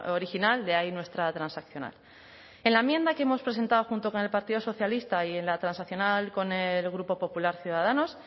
original de ahí nuestra transaccional en la enmienda que hemos presentado junto con el partido socialista y en la transaccional con el grupo popular ciudadanos